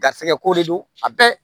Garisɛgɛ ko de don a bɛɛ